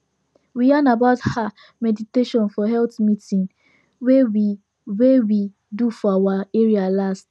we yarn about ah meditation for health meeting wey we wey we do for our area last